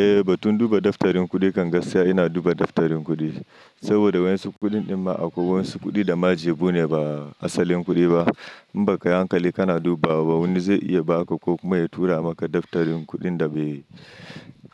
Eh, batun duba daftarin kuɗi kam gaskiya ina duba daftarin kuɗi. Saboda wadan su kudin ma a wadan su kuɗi da ma jebu ne ba asalin kudi ba. In ba kayi hankali kana dubawa ba wani zai iya baka ko kuma ya tura maka daftarin kudin da bai